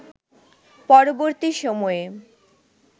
পরবর্তী সময়ে